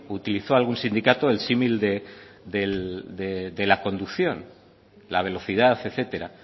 utilizó algún sindicato el símil de la conducción la velocidad etcétera